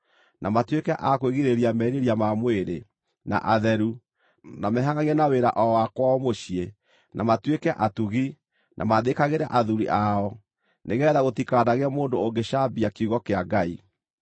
na matuĩke a kwĩgirĩrĩria merirĩria ma mwĩrĩ, na atheru, na mehangʼagie na wĩra o wa kwao mũciĩ, na matuĩke atugi, na maathĩkagĩre athuuri ao, nĩgeetha gũtikanagĩe mũndũ ũngĩcambia kiugo kĩa Ngai.